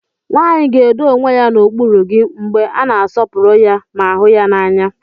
Nwanyị ga-edo onwe ya n'okpuru gị mgbe a na-asọpụrụ ya ma hụ ya n'anya.